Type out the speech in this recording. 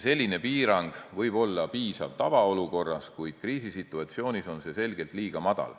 Selline piirang võib olla piisav tavaolukorras, kuid kriisisituatsioonis on seda selgelt liiga vähe.